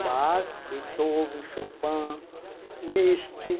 Bach, Beethoven, Chopin, Liszt.